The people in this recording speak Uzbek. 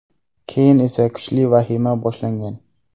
Keyin esa kuchli vahima boshlangan.